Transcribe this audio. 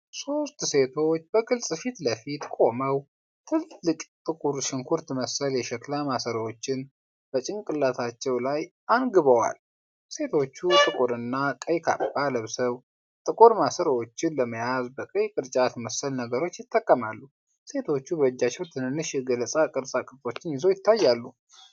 ሶስት ሴቶች በግልጽ ፊት ለፊት ቆመው፣ ትልልቅ ጥቁር ሽንኩርት መሰል የሸክላ ማሰሮዎችን በጭንቅላታቸው ላይ አንግበዋል። ሴቶቹ ጥቁርና ቀይ ካባ ለብሰው፣ ጥቁር ማሰሮዎቹን ለመያዝ በቀይ ቅርጫት መሰል ነገሮች ይጠቀማሉ። ሴቶቹ በእጃቸው ትንንሽ የገለባ ቅርጻ ቅርጾች ይዘው ይታያሉ።